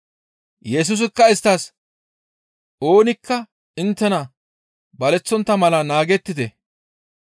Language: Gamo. Yesusikka isttas, «Oonikka inttena baleththontta mala naagettite.